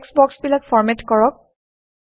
text বক্সবিলাক format কৰক